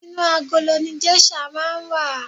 Inú agolo ni geisha máa n wa.